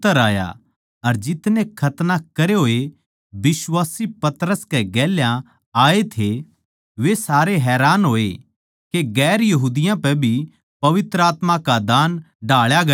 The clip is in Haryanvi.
अर जितने खतना करे होए बिश्वासी पतरस कै गेल्या आये थे वे सारे हैरान होए के दुसरी जात्तां पै भी पवित्र आत्मा का दान ढाळा गया सै